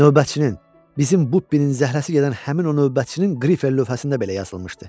Növbətçinin, bizim bu bünün zərrəsi gedən həmin o növbətçinin Griffer lövhəsində belə yazılmışdı.